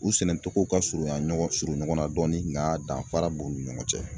U sɛnɛ togo ka surunya ɲɔgɔn surun ɲɔgɔnna dɔɔni nga danfara b'u ni ɲɔgɔn cɛ.